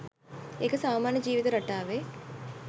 ඒක සාමාන්‍ය ජීවිත රටාවේ